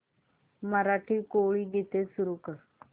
मराठी कोळी गीते सुरू कर